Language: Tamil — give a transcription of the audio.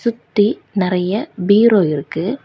சுத்தி நிறைய பீரோ இருக்கு.